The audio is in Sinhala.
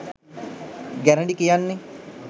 ගැරඬි කියන්නෙ